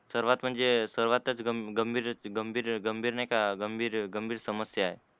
सर्वात म्हणजे सर्वातच गंभीर गंभीर गंभीर गंभीर नाहीका गंभीर गंभीर समस्या आहे.